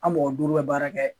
An mɔgɔ duuru bɛ baara kɛ